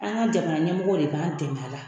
An ka jamanaɲamɔgɔw de b'an dɛmɛ a la